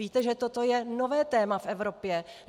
Víte, že toto je nové téma v Evropě.